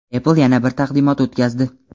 Apple yana bir taqdimot o‘tkazdi.